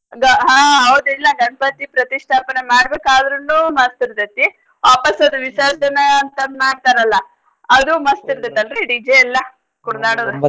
ಗ~ ಹಾ ಹೌದಿಲ್ಲ ಗಣ್ಪತಿ ಪ್ರತಿಸ್ಟಾಪನೆ ಮಾಡ್ಬೇಕಾದ್ರುನೂ ಮಸ್ತ್ ಇರ್ತೇತೇತಿ ವಾಪಸ್ ಅದು ಅಂತ್ ಮಾಡ್ತಾರಲ್ಲ ಅದೂ ಮಸ್ತ್ DJ ಎಲ್ಲಾ .